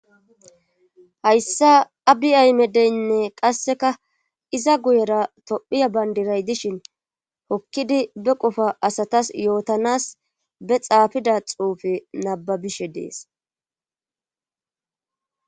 hayssa abiay medeynne qasseka iza guyera tophiya bayndiray dishin hokkidi be qofa asatas yootanas be xaafida xuufe nababishe dees